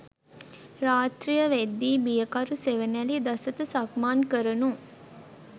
රාත්‍රිය වෙද්දී බියකරු සෙවනැලි දසත සක්මන් කරණු